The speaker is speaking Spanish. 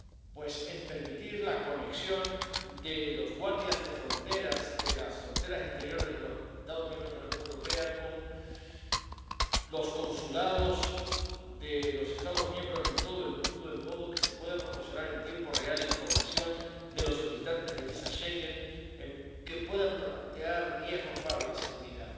Pues en permitir la conexión de los guardias de fronteras —de las fronteras exteriores de los Estados miembros de la Unión Europea— con los consulados de los Estados miembros en todo el mundo en modo que se pueda proporcionar en tiempo real información de los solicitantes de visados Schengen que puedan plantear riesgos para la seguridad